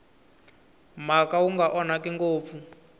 mhaka wu nga onhaki ngopfu